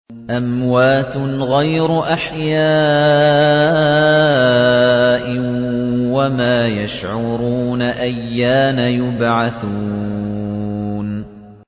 أَمْوَاتٌ غَيْرُ أَحْيَاءٍ ۖ وَمَا يَشْعُرُونَ أَيَّانَ يُبْعَثُونَ